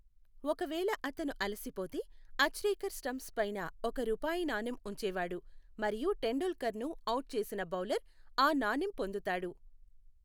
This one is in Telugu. ఒకవేళ అతను అలసిపోతే, అచ్రేకర్ స్టంప్స్ పైన ఒక రూపాయి నాణెం ఉంచేవాడు, మరియు టెండూల్కర్ను ఔట్ చేసిన బౌలర్ ఆ నాణెం పొందుతాడు.